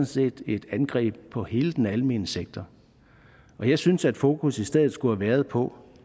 set et angreb på hele den almene sektor jeg synes at fokus i stedet skulle have været på